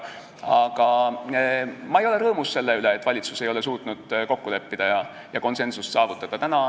Aga ma ei ole rõõmus selle üle, et valitsus ei ole suutnud kokku leppida ja konsensust saavutada.